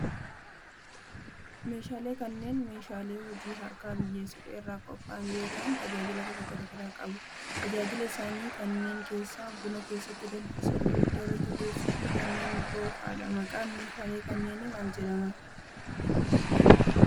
Meeshaaleen kunneen, meeshaalee hojii harkaa biyyee suphee irraa qopha'an yoo ta'an tajaajila gosa garaa garaa qabu. Tajaajila isaanii kanneen keessaa: buna keessatti danfisuuf, ibidda irratti bobeessuuf fi kanneen biroo faa dha. Maqaan meeshaalee kanneenii maal jedhama?